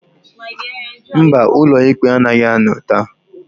Mba, ụlọ ikpe anaghị anọ taa.